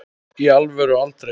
í alvöru aldrei